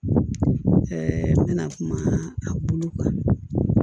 Ɛɛ kuma a bolo kan